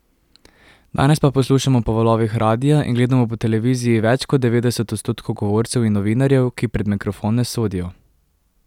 Danes pa poslušamo po valovih radia in gledamo po televiziji več kot devetdeset odstotkov govorcev in novinarjev, ki pred mikrofon ne sodijo!